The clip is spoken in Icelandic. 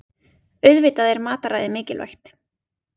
Auðvitað er mataræðið mikilvægt